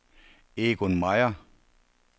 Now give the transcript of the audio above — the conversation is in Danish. Egon Meier